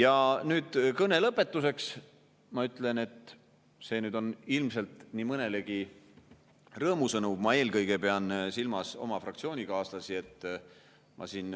Ja kõne lõpetuseks ma ütlen – see on ilmselt nii mõnelegi rõõmusõnum, ma eelkõige pean silmas oma fraktsioonikaaslasi –, et ma siin